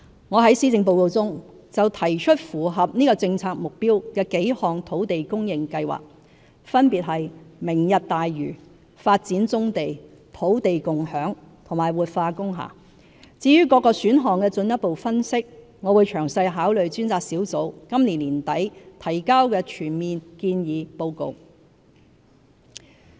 我在施政報告中提出符合這政策目標的幾項土地供應計劃，分別是明日大嶼、發展棕地、土地共享和活化工廈，至於各個選項的進一步分析，我會詳細考慮專責小組今年年底提交的全面建議報告。